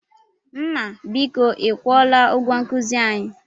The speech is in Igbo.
Nna, biko ị kwụọla ụgwọ nkuzi anyị?